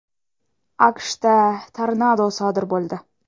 AQShda tornado sodir bo‘ldi.